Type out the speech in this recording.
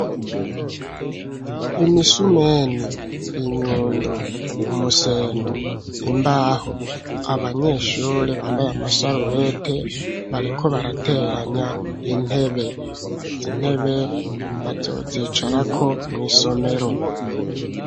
Imisumeni, inyundo, umuseno, imbaho; abanyeshure, bambaye amasarubete, bariko barateranya intebe, izi intebe bazozicarako mw'isomero.